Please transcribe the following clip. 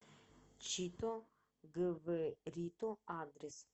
чито гврито адрес